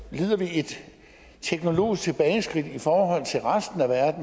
et teknologisk tilbageskridt i forhold til resten af